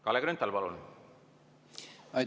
Kalle Grünthal, palun!